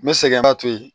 N bɛ sɛgɛnba to yen